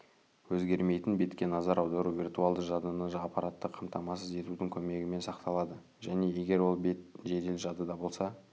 өзгермейтін бетке назар аудару виртуалды жадыны аппаратты қамтамасыз етудің көмегімен сақталады және егер ол бет жедел жадыда болса